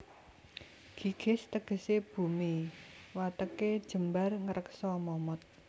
Gigis tegesé bumi watêké jembar ngreksa momot